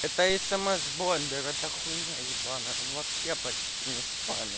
это смс бомбер это хуйня ебаная он вообще почти не спами